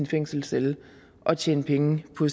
fængselscelle og tjene penge på